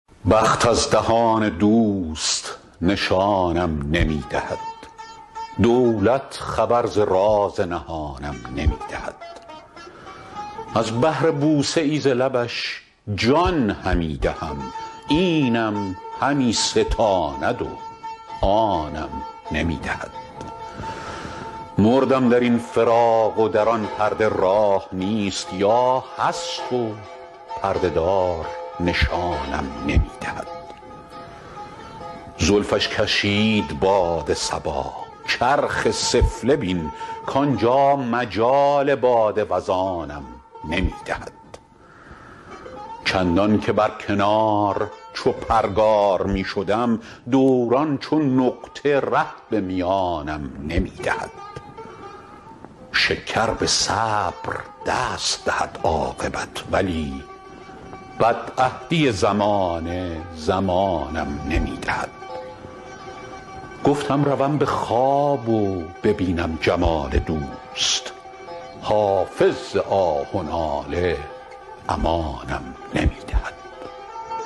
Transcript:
بخت از دهان دوست نشانم نمی دهد دولت خبر ز راز نهانم نمی دهد از بهر بوسه ای ز لبش جان همی دهم اینم همی ستاند و آنم نمی دهد مردم در این فراق و در آن پرده راه نیست یا هست و پرده دار نشانم نمی دهد زلفش کشید باد صبا چرخ سفله بین کانجا مجال باد وزانم نمی دهد چندان که بر کنار چو پرگار می شدم دوران چو نقطه ره به میانم نمی دهد شکر به صبر دست دهد عاقبت ولی بدعهدی زمانه زمانم نمی دهد گفتم روم به خواب و ببینم جمال دوست حافظ ز آه و ناله امانم نمی دهد